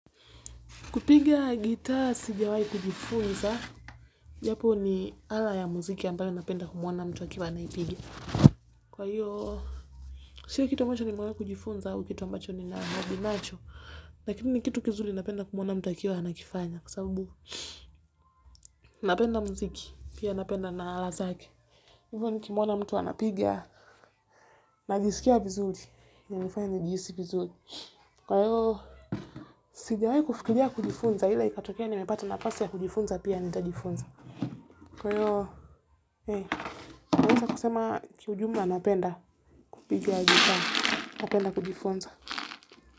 Kupiga gitaa sijawai kujifunza, japo ni ala ya muziki ambayo napenda kumwona mtu akiwa anaipiga. Kwa hiyo, sio kitu macho nimeona kujifunza au kitu ambacho ni nahabinacho, lakini kitu kizuri napenda kumwona mtu akiwa anakifanya, kwa sabubu napenda muziki, pia napenda na ala zake. Hivo nikimwona mtu anapiga, najisikia vizulri, inanifanya nijihisi vizuri. Kwa hiyo, sijawai kufikiria kujifunza, ila ikatokea nimepata nafasi ya kujifunza pia nitajifunza. Kwa hiyo eh naeza nikasema kiujumla napenda kupiga gitaa napenda kujifunza.